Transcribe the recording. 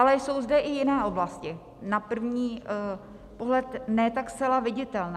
Ale jsou zde i jiné oblasti, na první pohled ne tak zcela viditelné.